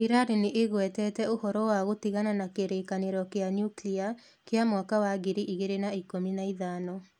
Iran nĩ ĩgwetete ũhoro wa gũtigana na kĩrĩkanĩro kĩa Nuclear kĩa mwaka wa ngiri igĩrĩ na ikũmi na ithano